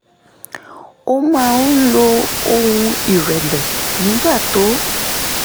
ó máa ń lo ohùn ìrẹ̀lẹ̀ nígbà tó